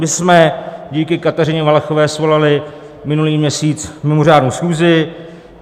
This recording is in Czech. My jsme díky Kateřině Valachové svolali minulý měsíc mimořádnou schůzi.